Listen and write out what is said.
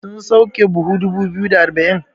sun sauke buhu dubu biyu da arba'in?